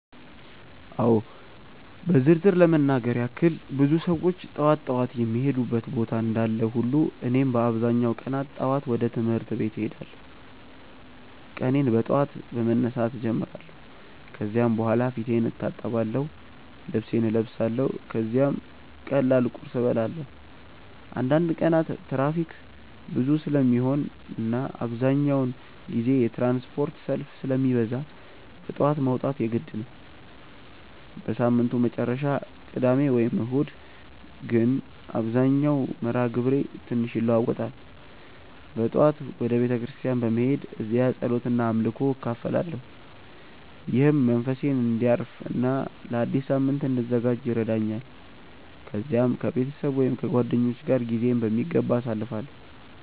አዎ በዝርዝር ለመናገር ያክል ብዙ ሰዎች ጠዋት ጠዋት የሚሄዱበት ቦታ እንዳለ ሁሉ እኔም በአብዛኛው ቀናት ጠዋት ወደ ትምህርት ቤት እሄዳለሁ። ቀኔን በጠዋት በመነሳት እጀምራለሁ ከዚያ በኋላ ፊቴን እታጠብአለሁ፣ ልብሴን እለብሳለሁ ከዚያም ቀላል ቁርስ እበላለሁ። አንዳንድ ቀናት ትራፊክ ብዙ ስለሚሆን እና አብዛኛውን ጊዜ የትራንስፖርት ሰልፍ ስለሚበዛ በጠዋት መውጣት የግድ ነው። በሳምንቱ መጨረሻ (ቅዳሜ ወይም እሁድ) ግን መደበኛው መርሃ ግብሬ ትንሽ ይለዋዋጣል። በጠዋት ወደ ቤተ ክርስቲያን በመሄድ እዚያ ጸሎት እና አምልኮ እካፈላለሁ፣ ይህም መንፈሴን እንዲያርፍ እና ለአዲስ ሳምንት እንድዘጋጅ ይረዳኛል። ከዚያም ከቤተሰብ ወይም ከጓደኞች ጋር ጊዜዬን በሚገባ አሳልፋለሁ።